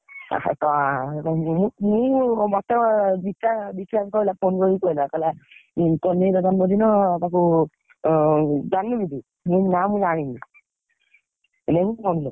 ମୁଁ ମତେ phone କରି କହିଲା, କହିଲା କହ୍ନେଇର ଜନ୍ମ ଦିନ, ତାକୁ, ଜାଣିନୁ କି ତୁ, ମୁଁ କହିଲି ନା ମୁଁ ଜାଣିନି।